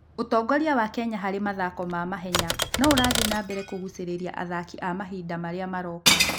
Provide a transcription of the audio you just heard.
Ũtongoria wa Kenya harĩ mathako ma mahenya no ũrathiĩ na mbere kũgucĩrĩria athaki a mahinda marĩa maroka.